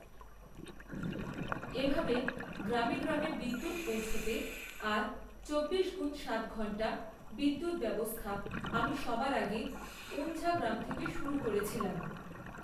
এভাবে গ্রামে গ্রামে বিদ্যুৎ পৌঁছতে আর চব্বিশ গুণ সাত ঘন্টা বিদ্যুৎ ব্যবস্থা আমি সবার আগে ঊঁঞ্ঝা গ্রাম থেকে শুরু করেছিলাম।